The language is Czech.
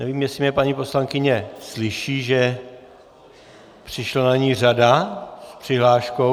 Nevím, jestli mě paní poslankyně slyší, že přišla na ni řada s přihláškou...?